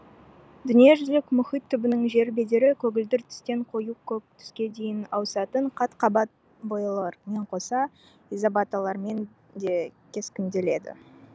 дүниежүзілік мұхит түбінің жер бедері көгілдір түстен қою көк түске дейін ауысатын қат қабат бояулармен қоса изобаталармен де кескінделеді